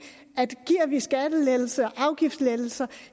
at giver vi skattelettelser afgiftslettelser